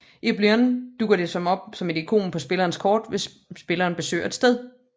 I Oblivion dukker det op som et ikon på spillerens kort hvis spilleren besøger et sted